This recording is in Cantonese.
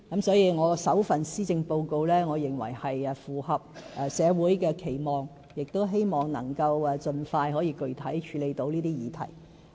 所以，我首份施政報告是符合社會期望的，我亦希望能夠盡快具體處理這些議題。